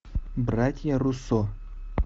братья руссо